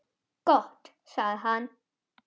Gott sagði hann.